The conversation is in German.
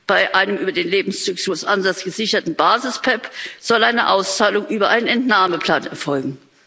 Bei einem über den Lebenszyklus anders gesicherten Basis PEPP soll eine Auszahlung über einen Entnahmeplan erfolgen.